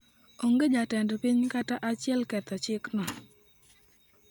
Onge jatend piny kata achiel ketho chikno.